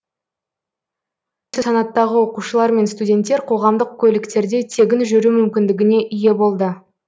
тағы осы санаттағы оқушылар мен студенттер қоғамдық көліктерде тегін жүру мүмкіндігіне ие болды